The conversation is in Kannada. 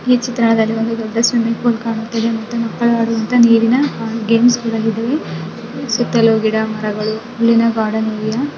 ಈ ಚಿತ್ರಣದಲ್ಲಿ ಒಂದು ದೊಡ್ಡ ಸ್ವಿಮ್ಮಿಂಗ್ ಪೂಲ್ ಕಾಣುತ್ತಿದೆ. ಮಕ್ಕಳು ಆಡುವ ನೀರಿನ ಗೇಮ್ಸ್ ಇದೆ ಸುತ್ತಲೂ ಗಿಡ ಮರಗಳು ಗಾರ್ಡನ್ --